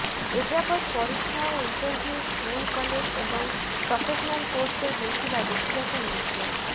ଏଯାବତ୍ ପରୀକ୍ଷା ଓ ଇଣ୍ଟରଭ୍ୟୁ ସ୍କୁଲ କଲେଜ ଏବଂ ପ୍ରୋଫେସନାଲ କୋର୍ସରେ ହୋଇଥିବା ଦେଖିବାକୁ ମିଳିଛି